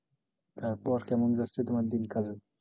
তারপর কেমন যাচ্ছে তোমার দিন কাল?